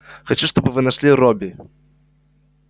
хочу чтобы вы нашли робби